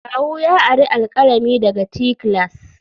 Kawu ya ari alkalami daga te class.